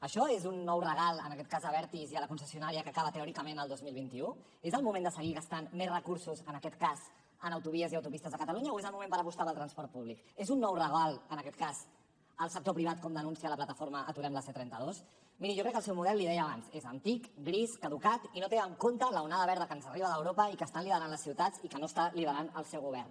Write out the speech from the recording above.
això és un nou regal en aquest cas a abertis i a la concessionària que acaba teòricament el dos mil vint u és el moment de seguir gastant més recursos en aquest cas en autovies i autopistes de catalunya o és el moment per apostar pel transport públic és un nou regal en aquest cas al sector privat com denuncia la plataforma aturem la c trenta dos miri jo crec que el seu model l’hi deia abans és antic gris caducat i no té en compte l’onada verda que ens arriba d’europa i que estan liderant les ciutats i que no està liderant el seu govern